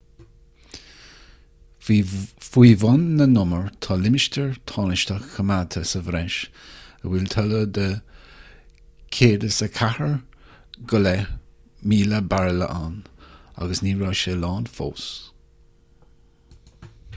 faoi bhun na n-umar tá limistéar tánaisteach coimeádta sa bhreis a bhfuil toilleadh de 104,500 bairille ann agus ní raibh sé lán fós